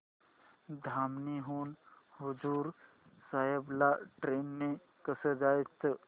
धामणी हून हुजूर साहेब ला ट्रेन ने कसं जायचं